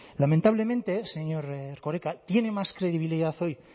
lamentablemente señor erkoreka tiene más credibilidad hoy